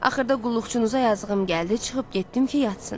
Axırda qulluqçunuza yazığım gəldi, çıxıb getdim ki, yatsın.